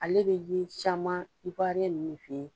Ale bɛ ye caman ninnu fɛ ye.